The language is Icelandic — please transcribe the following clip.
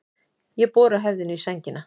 Ég bora höfðinu í sængina.